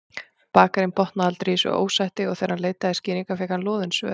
Bakarinn botnaði aldrei í þessu ósætti og þegar hann leitaði skýringa fékk hann loðin svör.